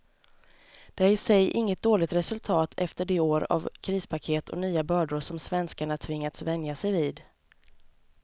Det är i sig inget dåligt resultat efter de år av krispaket och nya bördor som svenskarna tvingats vänja sig vid.